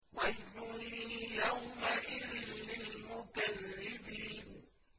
وَيْلٌ يَوْمَئِذٍ لِّلْمُكَذِّبِينَ